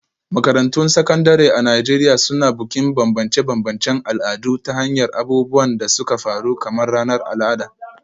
Makarantun Sakandare a Najeriya Suna Bukin bambance-bambancen al'adu ta hanyar abubuwan da suka faru kamar ranar al'ada.